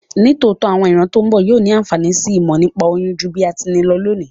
Nítòótó, àwon ìran to n bo yio ni ànfàní si ìmò nípa oyún ju bí a ti ni lo lónìí